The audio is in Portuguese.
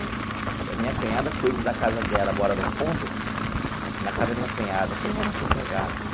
E a minha cunhada cuida da casa dela, mora no fundo, assim, na casa da minha cunhada, o terreno assim, pegado.